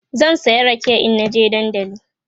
zan saya rake in na je dandali